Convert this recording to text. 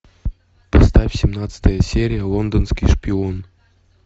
поставь семнадцатая серия лондонский шпион